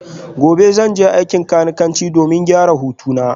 Gobe ​​zan je aikin kanikanci domin gyara hutuna